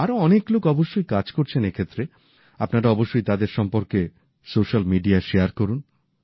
আরও অনেক লোক অবশ্যই কাজ করছেন এই ক্ষেত্রে আপনারা অবশ্যই তাদের সম্পর্কে সোশ্যাল মিডিয়ায় শেয়ার করুন